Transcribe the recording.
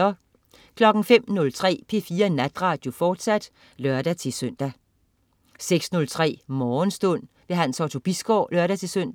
05.03 P4 Natradio, fortsat (lør-søn) 06.03 Morgenstund. Hans Otto Bisgaard (lør-søn)